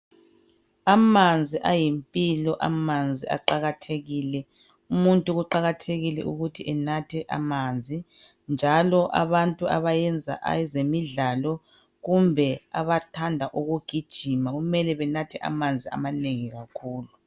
Amanzi ayimpilo amanzi aqakathekile umuntu kuqakathekile ukuthi enathe amanzi njalo abantu abayenza ezemidlalo kumbe abathanda ukugijima kumele benathe amanzi amanengi kakhulu.